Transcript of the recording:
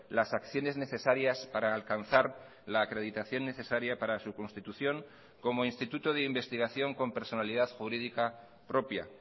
las acciones necesarias para alcanzar la acreditación necesaria para su constitución como instituto de investigación con personalidad jurídica propia